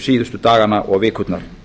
síðustu dagana og vikurnar